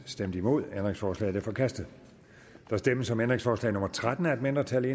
stemte nul ændringsforslaget er forkastet der stemmes om ændringsforslag nummer tretten af et mindretal